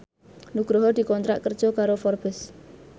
Nugroho dikontrak kerja karo Forbes